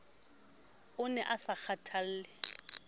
o ne a sa kgathalle